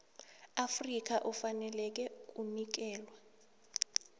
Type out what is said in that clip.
afrika ufaneleka kunikelwa